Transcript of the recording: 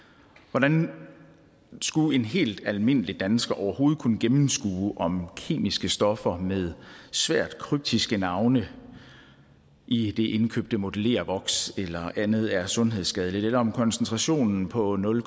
hvordan skulle en helt almindelig dansker overhovedet kunne gennemskue om kemiske stoffer med svært kryptiske navne i det indkøbte modellervoks eller andet er sundhedsskadeligt eller om koncentrationen på nul